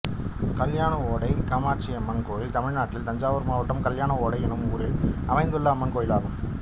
கல்யாணஒடை காமாட்சியம்மன் கோயில் தமிழ்நாட்டில் தஞ்சாவூர் மாவட்டம் கல்யாணஒடை என்னும் ஊரில் அமைந்துள்ள அம்மன் கோயிலாகும்